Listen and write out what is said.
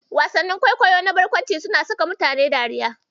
Wasannin kwaikwayo na barkwanci suna saka mutane dariya.